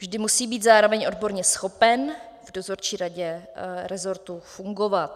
Vždy musí být zároveň odborně schopen v dozorčí radě rezortu fungovat.